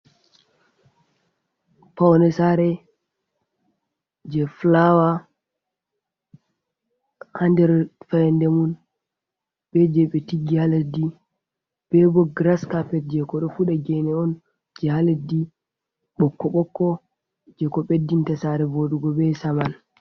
Paune saare je flawa ha nder faryande mun be je be tiggi ha leddi be bo gras cappet je ko ɗo fuɗa, gene on je ha leddi bokko bokko je ko beddinta saare vodugo be Saman.